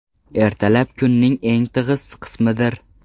Ertalab kunning eng tig‘iz qismidir.